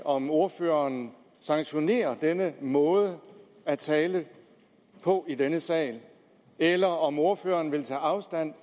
om ordføreren sanktionerer denne måde at tale på i denne sal eller om ordføreren vil tage afstand